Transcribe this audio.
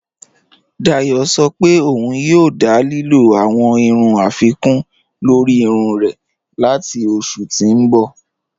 Dáyọ̀ sọ̀ pé ọun yòò dá lílò awọn irun afikun lórí irun rẹ̀ latí oṣù tí n bọ̀.